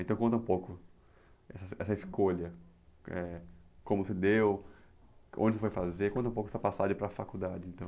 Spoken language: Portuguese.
Então conta um pouco essa essa escolha, eh, como se deu, onde você foi fazer, conta um pouco essa passagem para a faculdade, então.